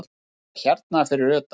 Var það hérna fyrir utan?